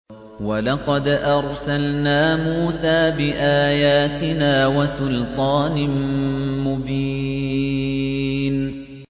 وَلَقَدْ أَرْسَلْنَا مُوسَىٰ بِآيَاتِنَا وَسُلْطَانٍ مُّبِينٍ